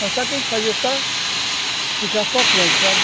Mas só que a gente fazia, só, ficar focando, sabe?